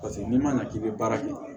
Paseke n'i ma na k'i bɛ baara kɛ